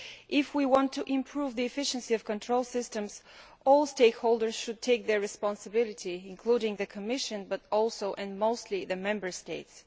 If we want to improve the efficiency of control systems, all stakeholders should take their responsibility including the Commission but also, and especially, the Member States.